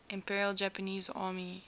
imperial japanese army